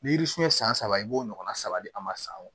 Ni yiri surunya san saba i b'o ɲɔgɔnna saba di an ma san o